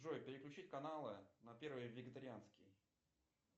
джой переключить каналы на первый вегетарианский